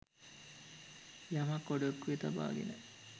යමක් ඔඩොක්කුවේ තබාගෙන